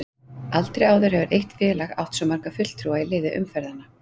Aldrei áður hefur eitt félag átt svo marga fulltrúa í liði umferðanna.